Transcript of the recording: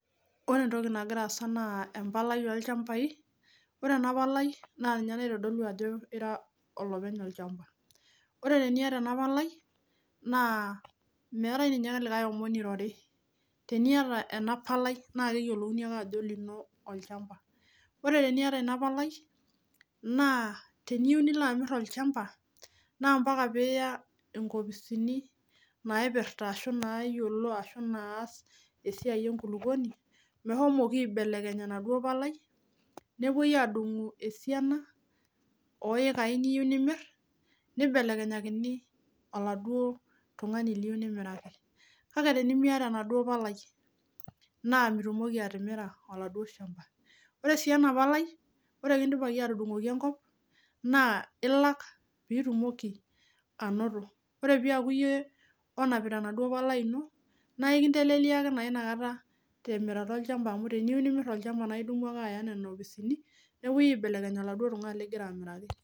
ore entoki nagira aasa naa embalai olchamba ore teniata ena palai meetae ninye enkae nairori olino ake olchamba, teniyiou nimir olchamba niata ena palai naa lasima piingas aya inkopisini naipirta ilchambai peetumokini aatudungu esiana oekai niyiou nimir nitaikini siininye ilo likae enkae palai kake teninungunono naa pii